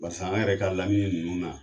Barisa an yɛrɛ ka laminɛ ninnu na